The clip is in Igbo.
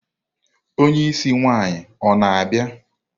Onye isi nwaanyi ọ na-abịa?